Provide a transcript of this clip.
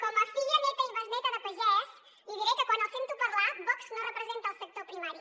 com a filla neta i besneta de pagès li diré que quan els sento parlar vox no representa el sector primari